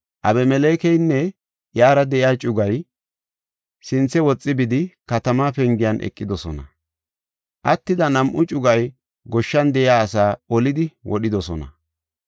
Abimelekeynne iyara de7iya cugay sinthe woxi bidi, katamaa pengiyan eqidosona. Attida nam7u cugay goshshan de7iya asaa olidi wodhidosona.